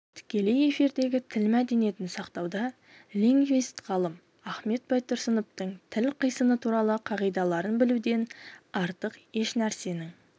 тікелей эфирдегі тіл мәдениетін сақтауда лингвист-ғалым ахмет байтұрсыновтың тіл қисыны туралы қағидаларын білуден артық ешнәрсенің